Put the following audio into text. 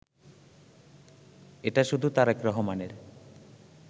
এটা শুধু তারেক রহমানের